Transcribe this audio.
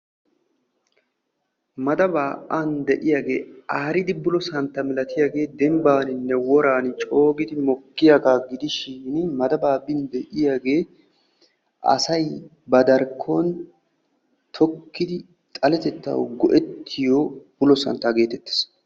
Madabaani aaridi bullosantta malattiyage dembaanninne woran coo mokkiyaaga gidishin madaban de'iyaagee asay ba darkkon tokkidid xaletettawu go'ettiyo bullo santtaa getettees.